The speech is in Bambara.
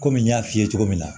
Kɔmi n y'a f'i ye cogo min na